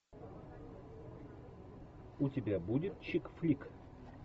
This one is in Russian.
у тебя будет чик флик